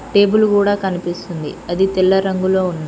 Table కూడా కనిపిస్తుంది అది తెల్ల రంగులో ఉంది.